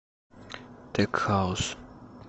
тек хаус